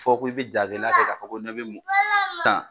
Fɔ ko i bi ja gɛlɛya kɛ k'a fɔ ko n ɲɛ be mɔ